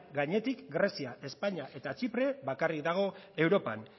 gainetik grezia espainia eta txipre bakarrik dago europan